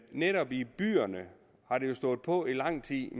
netop i byerne har stået på i lang tid